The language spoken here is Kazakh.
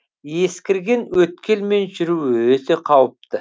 ескірген өткелмен жүру өте қауіпті